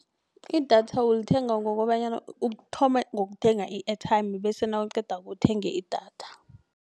I-datha ulithenga ngokobanyana uthome ngokuthenga i-airtime bese nawuqedako uthenge idatha.